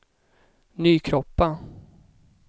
Nykroppa